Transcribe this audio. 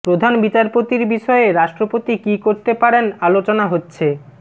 প্রধান বিচারপতির বিষয়ে রাষ্ট্রপতি কী করতে পারেন আলোচনা হচ্ছে